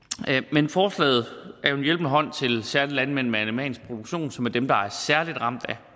men forslaget er jo en hjælpende hånd til især landmænd med animalsk produktion som er dem der er særlig ramt